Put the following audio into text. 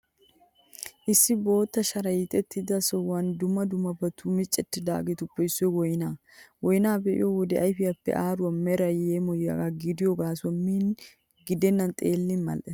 Issi bootta sharay hiixettido sohuwan dumma dummabati miccettidaageetuppe issoy woyniyaa. Woyniyaa be'iyo wode ayfiyaappe aaruwaa meray yeemoyiyagaa gidiyo gaasuwawu miin gidennan xeellin mal''ees.